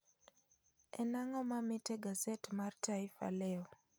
En ang'o mamit egaset mar taifa leo